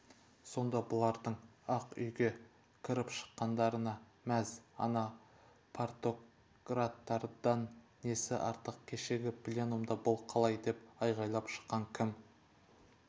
сонда бұлардың ақ үйге крп-шыққандарына мәз ана партократтардан несі артық кешегі пленумда бұл қалай деп айғайлап шыққан кім